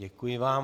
Děkuji vám.